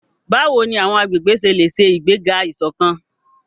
Báwo ni àwọn agbègbè ṣe lè ṣe ìgbéga ìṣọ̀kan?